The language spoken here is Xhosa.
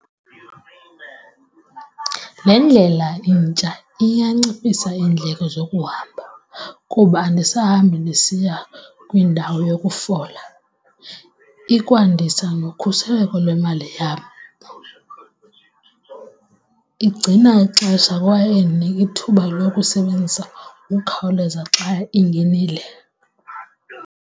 Le ndlela intsha iyanciphisa iindleko zokuhamba kuba anisahamba ndisiya kwindawo yokufola ikwandisa nokhuseleko lwemali yam. Igcina ixesha kwaye indinika ithuba lokusebenzisa ngokukhawuleza xa ingenile.